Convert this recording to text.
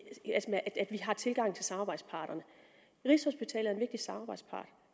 vi har tilgang til samarbejdsparterne rigshospitalet er en vigtig samarbejdspart